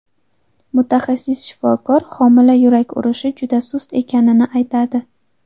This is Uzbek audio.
Mutaxassis shifokor homila yurak urishi juda sust ekanini aytadi.